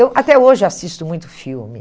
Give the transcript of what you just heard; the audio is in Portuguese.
Eu até hoje assisto muito filme.